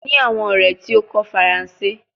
Mo ni awon ore ti o ko faranse